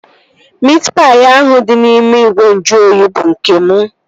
Miit paị ahụ dị n'ime ìgwè nju oyi bụ nke mụ